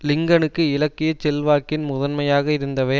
லிங்கனுக்கு இலக்கிய செல்வாக்கின் முதன்மையாக இருந்தவை